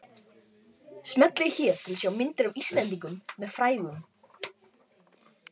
Smellið hér til að sjá myndir af Íslendingum með frægum